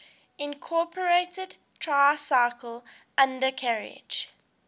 incorporated tricycle undercarriage